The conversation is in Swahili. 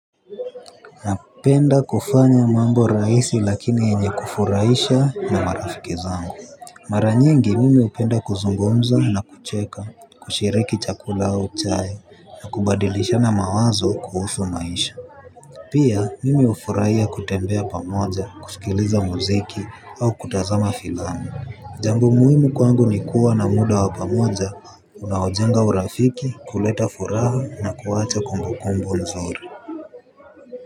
Napenda kufanya mambo rahisi lakini yenye kufurahisha na marafiki zangu. Mara nyengi mimi hupenda kuzungumza na kucheka, kushiriki chakula au chai, na kubadilishana mawazo kuhusu maisha. Pia mimi hufurahia kutembea pamoja, kusikiliza muziki au kutazama filamu. Jambo muhimu kwangu ni kuwa na muda wa pamoja, unaojenga urafiki, kuleta furaha na kuwacha kumbu kumbu nzuri.